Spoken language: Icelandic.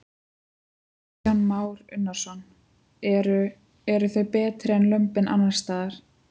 Kristján Már Unnarsson: Eru, eru þau betri en lömbin annarsstaðar?